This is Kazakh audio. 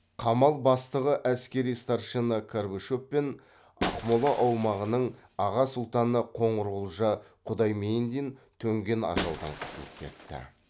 қамал бастығы әскери старшина карбачов пен ақмола аумағының аға сұлтаны қоңырқожа құдаймендин төнген ажалдан құтылып кетті